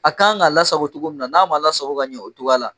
A kan ka lasago cogoya min na n'a ma lasago ka ɲɛ o cogoya la